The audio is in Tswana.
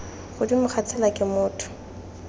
godimo ga tsela ke motho